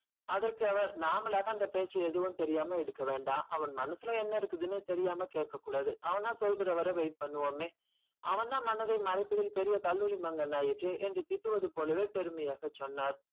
அதற்க்கு அவர் நம்பலாக அந்த பேச எடுக்க வேண்டாம் அவன் மனசுல என்ன இருக்குதுனு தெரியாம கேக்க கூடாது அவனா சொல்கிற வரைக்கும் wait பண்ணுவோமே. அவன் தான் மனதை மறைத்தத்தில் கல்லுனி மன்னர் ஆயிற்றே என்று திட்டுவது போல பெருமையாக சொன்னான்.